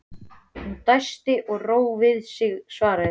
Hann dæsti og dró við sig svarið.